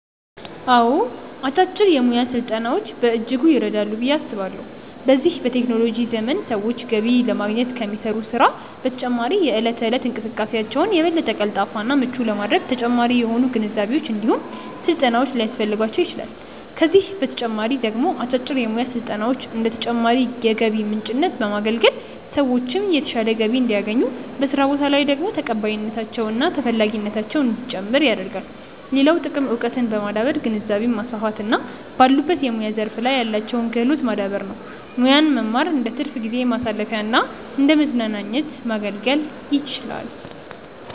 አዎ አጫጭር የሙያ ስልጠናዎች በእጅጉ ይረዳሉ ብዬ አስባለሁ። በዚህ በቴክኖሎጂ ዘመን ሰዎች ገቢ ለማግኘት ከሚሰሩት ስራ በተጨማሪ የእለት ተእለት እንቅስቃሴያቸውን የበለጠ ቀልጣፋ እና ምቹ ለማድረግ ተጨማሪ የሆኑ ግንዛቤዎች እንዲሁም ስልጠናዎች ሊያስፈልጓቸው ይችላል፤ ከዚህ በተጨማሪ ደግሞ አጫጭር የሙያ ስልጠናዎች እንደ ተጨማሪ የገቢ ምንጭነት በማገልገል ሰዎችን የተሻለ ገቢ እንዲያገኙ፤ በስራ ቦታ ላይ ደግሞ ተቀባይነታቸው እና ተፈላጊነታቸው እንዲጨምር ያደርጋል። ሌላው ጥቅም እውቀትን በማዳበር ግንዛቤን ማስፋት እና ባሉበት የሙያ ዘርፍ ላይ ያላቸውን ክህሎት ማዳበር ነው። ሙያን መማር እንደትርፍ ጊዜ ማሳለፊያና እንደመዝናኛነት ማገልገል ይችላል።